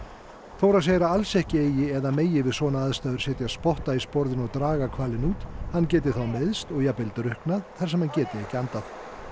Þóra segir að alls ekki eigi eða megi við svona aðstæður setja spotta í sporðinn og draga hvalinn út hann geti þá meiðst og jafnvel drukknað þar sem hann geti ekki andað